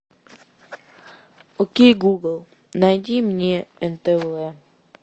окей гугл найди мне нтв